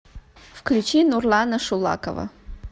включи нурлана шулакова